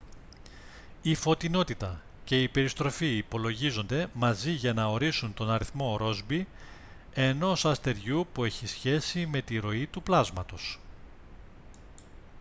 η φωτεινότητα και η περιστροφή υπολογίζονται μαζί για να ορίσουν τον αριθμό ρόσμπι ενός αστεριού που έχει σχέση με τη ροή του πλάσματος